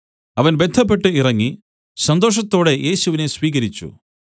അവൻ ബദ്ധപ്പെട്ട് ഇറങ്ങി സന്തോഷത്തോടെ യേശുവിനെ സ്വീകരിച്ചു